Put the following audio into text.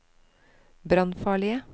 brannfarlige